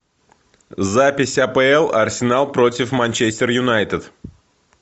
запись апл арсенал против манчестер юнайтед